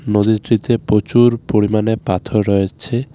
নদীটিতে প্রচুর পরিমাণে পাথর রয়েছে .